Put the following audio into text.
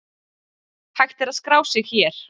Hægt er að skrá sig hér.